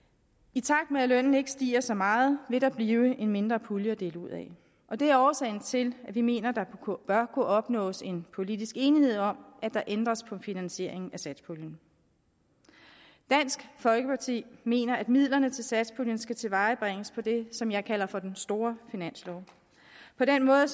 i takt med at lønnen ikke stiger så meget vil der blive en mindre pulje at dele ud af og det er årsagen til at vi mener at der bør kunne opnås en politisk enighed om at der ændres på finansieringen af satspuljen dansk folkeparti mener at midlerne til satspuljen skal tilvejebringes på det som jeg kalder den store finanslov på den måde